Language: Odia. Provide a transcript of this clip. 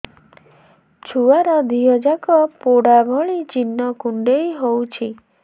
ଛୁଆର ଦିହ ଯାକ ପୋଡା ଭଳି ଚି଼ହ୍ନ କୁଣ୍ଡେଇ ହଉଛି